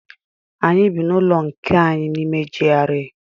Anyị bị n'ụlọ nke anyị n'ime GRA.